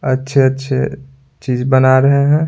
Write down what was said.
अच्छे-अच्छे चीज बना रहे हैं।